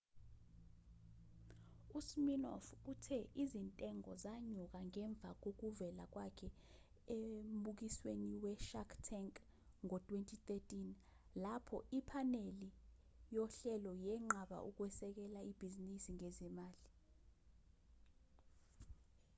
usminoff uthe izintengo zanyuka ngemva kokuvela kwakhe embukwisweni we-shark tank ngo-2013 lapho iphaneli yohlelo yenqaba ukusekela ibhizinisi ngezimali